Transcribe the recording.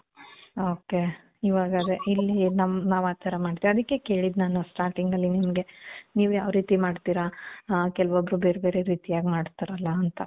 ok.ಇವಾಗ್ ಅದೆ ಇಲ್ಲಿ ನಮ್, ನಾವ್ ಆ ಥರ ಮಾಡ್ತೀವಿ. ಅದಕ್ಕೆ ಕೇಳಿದ್ ನಾನು starting ಅಲ್ಲಿ ನಿಮ್ಗೆ, ನೀವ್ ಯಾವ್ ರೀತಿ ಮಾಡ್ತೀರ? ಆ, ಕೆಲವೊಬ್ರು ಬೇರ್ ಬೇರೆ ರೀತಿಯಾಗಿ ಮಾಡ್ತಾರಲ್ಲ ಅಂತ.